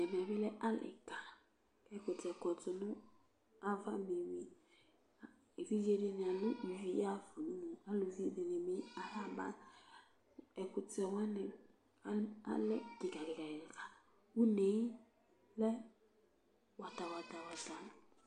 ɛmɛ bi lɛ ali ka k'ɛkutɛ kɔ no ava be wi evidze di ni alò ivi ya ɣa fa udunu aluvi di ni bi aya ba ɛkutɛ wani alɛ keka keka keka une lɛ wata wata wata